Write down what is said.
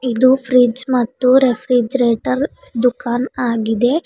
ಇದು ಫ್ರಿಜ್ ಮತ್ತು ರೆಫ್ರಿಜಿರೇಟರ್ ದುಕಾನ್ ಆಗಿದೆ.